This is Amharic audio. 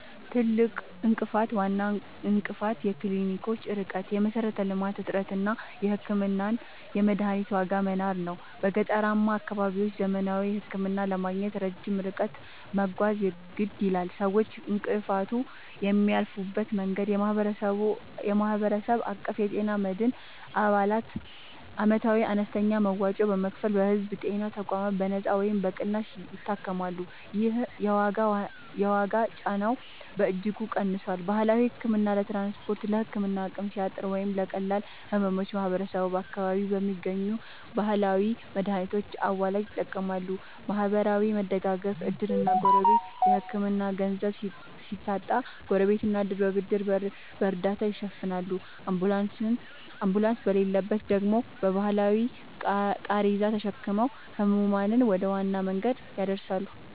ትልቁ እንቅፋት፦ ዋናው እንቅፋት የክሊኒኮች ርቀት (የመሠረተ-ልማት እጥረት) እና የሕክምናና የመድኃኒት ዋጋ መናር ነው። በገጠራማ አካባቢዎች ዘመናዊ ሕክምና ለማግኘት ረጅም ርቀት መጓዝ የግድ ይላል። ሰዎች እንቅፋቱን የሚያልፉበት መንገድ፦ የማህበረሰብ አቀፍ የጤና መድን፦ አባላት ዓመታዊ አነስተኛ መዋጮ በመክፈል በሕዝብ ጤና ተቋማት በነጻ ወይም በቅናሽ ይታከማሉ። ይህ የዋጋ ጫናውን በእጅጉ ቀንሶታል። ባህላዊ ሕክምና፦ ለትራንስፖርትና ለሕክምና አቅም ሲያጥር ወይም ለቀላል ሕመሞች ማህበረሰቡ በአካባቢው በሚገኙ ባህላዊ መድኃኒቶችና አዋላጆች ይጠቀማል። ማህበራዊ መደጋገፍ (ዕድርና ጎረቤት)፦ የሕክምና ገንዘብ ሲታጣ ጎረቤትና ዕድር በብድርና በእርዳታ ይሸፍናሉ፤ አምቡላንስ በሌለበት ደግሞ በባህላዊ ቃሬዛ ተሸክመው ሕሙማንን ወደ ዋና መንገድ ያደርሳሉ።